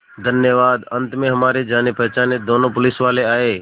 धन्यवाद अंत में हमारे जानेपहचाने दोनों पुलिसवाले आए